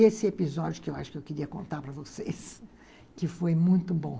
Esse episódio que eu acho que eu queria contar para vocês, que foi muito bom.